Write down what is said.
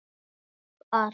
Og allt.